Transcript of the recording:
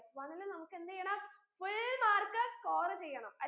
plus one ൽ നമുക്കെന്തെയ്യണം full mark score ചെയ്യണം